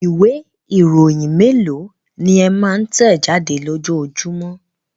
Ìwé-ìròyìn mélòó ni ẹ máa ń tẹ̀ jáde lójoojúmọ́?